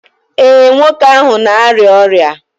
ee, nwoke ahụ na-arịa ọrịa?